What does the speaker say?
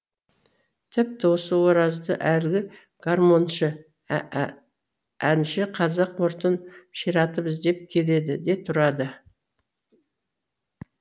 тіпті осы оразды әлігі гармоншы әнші қазақ мұртын ширатып іздеп келеді де тұрады